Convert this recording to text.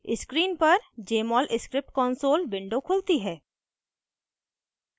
screen पर jmol script console window खुलती है